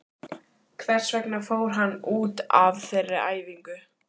Hvers vegna fór hann út af þeirri æfingu?